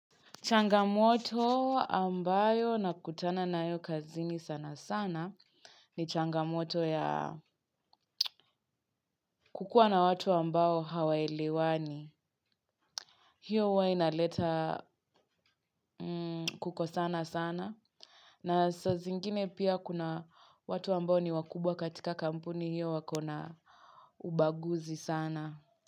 Changamoto ambayo nakutana nayo kazini sana sana ni changamoto ya kukua na watu ambao hawaelewani. Hiyo huwa inaleta kukosana sana na sazingine pia kuna watu ambayo ni wakubwa katika kampuni hiyo wako na ubaguzi sana.